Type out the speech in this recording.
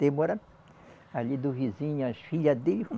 Demora ali do vizinho as filha dele.